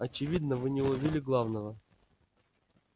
очевидно вы не уловили главного